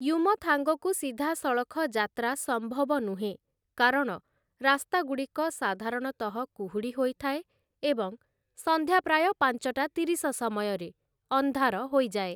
ୟୁମଥାଙ୍ଗକୁ ସିଧାସଳଖ ଯାତ୍ରା ସମ୍ଭବ ନୁହେଁ କାରଣ ରାସ୍ତାଗୁଡ଼ିକ ସାଧାରଣତଃ କୁହୁଡ଼ି ହୋଇଥାଏ ଏବଂ ସନ୍ଧ୍ୟା ପ୍ରାୟ ପାଞ୍ଚଟା ତିରିଶ ସମୟରେ ଅନ୍ଧାର ହୋଇଯାଏ ।